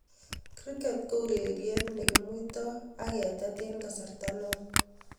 Kriket ko urerie ne kimuitoo ak ketet eng kasarta ne oo.